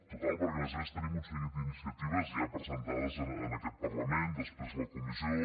total perquè a més a més tenim un seguit d’iniciatives ja presentades en aquest parlament després la comissió